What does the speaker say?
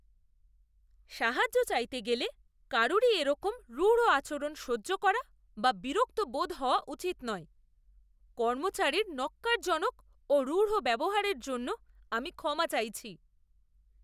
সাহায্য চাইতে গেলে কারুরই এরকম রূঢ় আচরণ সহ্য করা বা বিরক্ত বোধ হওয়া উচিত নয়। কর্মচারীর ন্যক্কারজনক ও রূঢ় ব্যবহারের জন্য আমি ক্ষমা চাইছি।